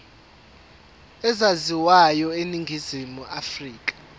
ezaziwayo eningizimu afrika